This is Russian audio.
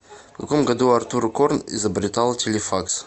в каком году артур корн изобретал телефакс